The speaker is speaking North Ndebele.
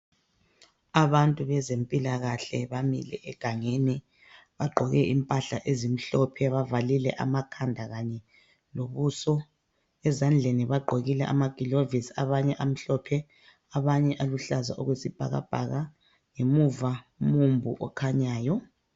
Abantu bezempilakahle bamile egangeni. Bagqoke impahla ezimhlophe, bavalile amakhanda kanye lobuso. Ezandleni bagqokile amagilovisi, abanye amhlophe abanye aluhlaza okwesibhakabhaka. Ngemuva ngumumbu okhanyayo.